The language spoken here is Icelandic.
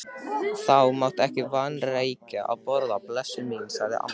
Þú mátt ekki vanrækja að borða, blessuð mín, sagði amma.